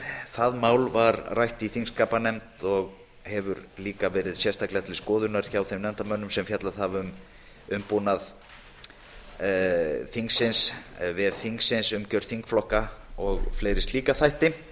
það mál var rætt í þingskapanefnd og hefur einnig verið til skoðunar hjá þeim nefndarmönnum sem fjallað hafa um vef alþingis umgjörð þingflokka og fleiri slíka þætti